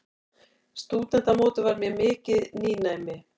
Stúdentamótið var mér mikið nýnæmi.